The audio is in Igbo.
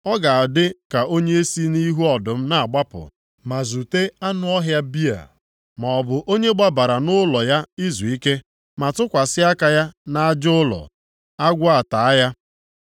Ọ ga-adị ka onye si nʼihu ọdụm na-agbapụ ma zute anụ ọhịa bịa, maọbụ onye gbabara nʼụlọ ya izuike ma tụkwasị aka ya nʼaja ụlọ, agwọ ataa ya.